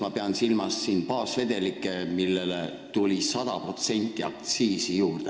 Ma pean silmas e-sigarettide baasvedelikke, millele tuli 100% aktsiisi juurde.